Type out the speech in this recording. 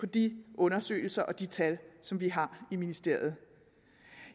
de undersøgelser og de tal som vi har i ministeriet